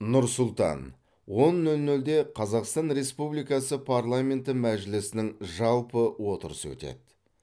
нұр сұлтан он нөл нөлде қазақстан республикасы парламенті мәжілісінің жалпы отырысы өтеді